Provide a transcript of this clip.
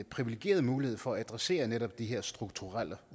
privilegeret mulighed for at adressere netop de her strukturelle